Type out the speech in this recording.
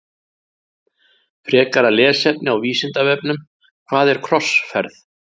Frekara lesefni á Vísindavefnum Hvað er krossferð?